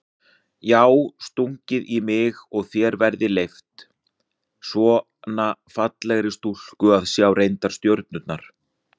Já stungið í þig og þér verið leyft, svona fallegri stúlku að sjá leyndar stjörnur?